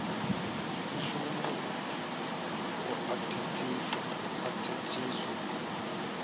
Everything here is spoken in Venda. i shume u athatshiwa na